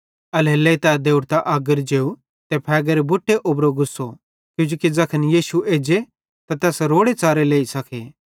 एल्हेरेलेइ तै देवड़तां अगर जेव ते फ़ेगेरे बुट्टे उबरो गुस्सो किजोकि ज़ैखन यीशु एज्जे त तै तैस रोड़ेच़ारे लेई सके